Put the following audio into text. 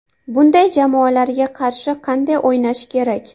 Bunday jamoalarga qarshi qanday o‘ynash kerak?